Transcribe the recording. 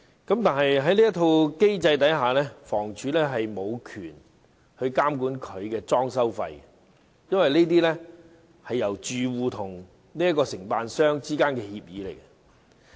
然而，在此機制之下，房委會無權監管裝修費，因為這是住戶與承辦商之間的協議。